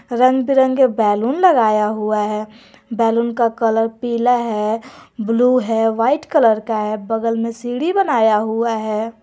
रंग बिरंगे बैलून लगाया हुआ है बैलून का कलर पीला है ब्लू है वाइट कलर का है बगल में सीढ़ी बनाया हुआ है।